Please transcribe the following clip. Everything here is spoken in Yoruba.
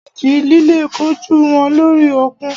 Ìjì líle kojú wọn lórí òkun.